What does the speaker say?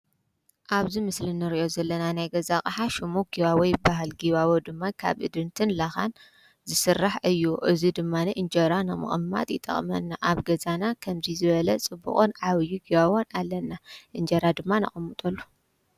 ኣብዚ ምስሊ ንርዮ ዘለና ናይ ገዛ ኣቐሓ ሹሙ ጊዋወይ በሃል ጊዋቦ ድማይ ካብ እድንትን ለኻን ዝሥራሕ እዩ እዝ ድማነ እንጀራ ናምቕማጥ ይጠቕመና ኣብ ገዛና ኸምዙይ ዝበለ ጽብቕን ዓውዪ ገዋቦን ኣለና እንጀራ ድማ ኣቐምጡሉ።